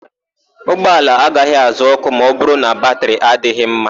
Ụgbọala agaghị àzá òkù ma ọbụrụ na batịrị adịghị mma.